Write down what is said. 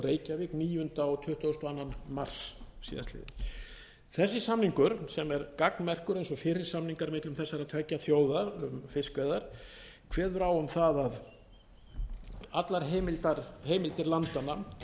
reykjavík níunda og tuttugasta og annan mars síðastliðinn þessi samningur sem er gagnmerkur eins og fyrri samningar millum þessara tveggja þjóða um fiskveiðar kveður á um það að allar heimildir landanna